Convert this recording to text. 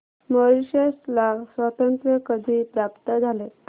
Mauritius ला स्वातंत्र्य कधी प्राप्त झाले